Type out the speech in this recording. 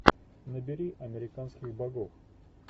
набери американских богов